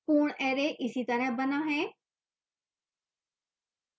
पूर्ण array इसी तरह बना है